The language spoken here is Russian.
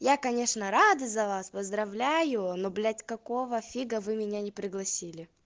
я конечно рада за вас поздравляю ну блять какого фига вы меня не пригласили